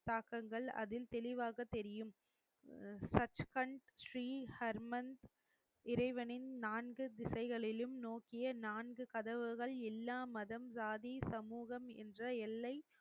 தாக்கங்கள் அதில் தெளிவாக தெரியும் சச்கன் ஸ்ரீஹர்மன் இறைவனின் நான்கு திசைகளிலும் நோக்கிய நான்கு கதவுகள் எல்லா மதம் ஜாதி சமூகம் என்ற எல்லை